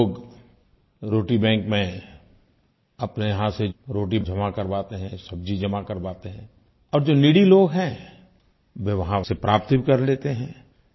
लोग रोटी बैंक में अपने यहाँ से रोटी जमा करवाते हैं सब्जी जमा करवाते हैं और जो नीडी लोग हैं वे वहाँ उसे प्राप्त भी कर लेते हैं